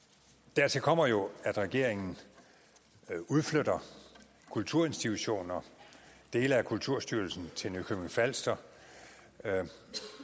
dertil kommer jo at regeringen udflytter kulturinstitutioner dele af kulturstyrelsen til nykøbing falster dansk